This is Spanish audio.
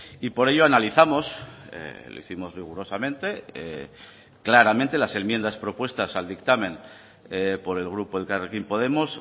y por ello analizamos elegimos rigurosamente claramente las enmiendas propuestas al dictamen por el grupo elkarrekin podemos